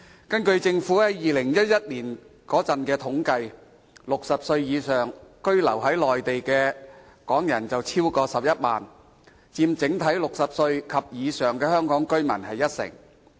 根據政府在2011年的統計 ，60 歲以上在內地居留的港人超過11萬人，佔整體60歲及以上的香港居民近一成。